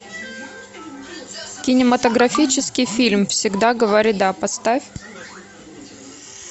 кинематографический фильм всегда говори да поставь